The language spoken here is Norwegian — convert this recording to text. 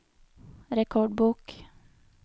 rekordbok